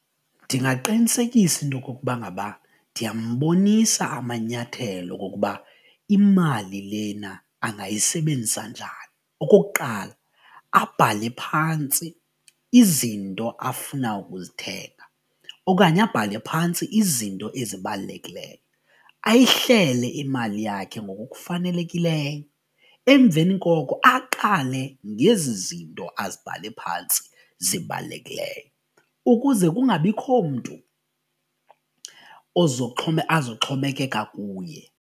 Ndingaqinisekisa intokokuba ngaba ndiyambonisa amanyathelo okokuba imali lena angayisebenzisa njani okokuqala abhale phantsi izinto afuna ukuzithenga okanye abhale phantsi izinto ezibalulekileyo ayihlele imali yakhe ngokokufanelekileyo emveni koko aqale ngezi zinto azibhale phantsi zibalulekileyo ukuze kungabikho mntu azoxhomekeka kuye.